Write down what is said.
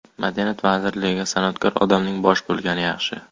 Madaniyat vazirligiga san’atkor odamning bosh bo‘lgani yaxshi.